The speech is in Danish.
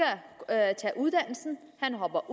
at tage uddannelse han dropper